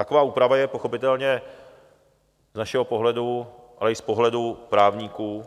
Taková úprava je pochopitelně z našeho pohledu, ale i z pohledu právníků,